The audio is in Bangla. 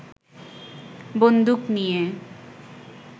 বন্দুক নিয়ে